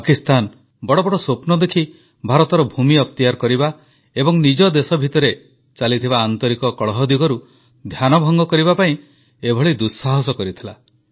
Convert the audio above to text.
ପାକିସ୍ତାନ ବଡ଼ ବଡ଼ ସ୍ୱପ୍ନ ଦେଖି ଭାରତର ଭୂମି ଅକ୍ତିଆର କରିବା ଏବଂ ନିଜ ଦେଶ ଭିତରେ ଚାଲିଥିବା କଳହ ଦିଗରୁ ଧ୍ୟାନ ଭଙ୍ଗ କରିବା ପାଇଁ ଏଭଳି ଦୁଃସାହସ କରିଥିଲା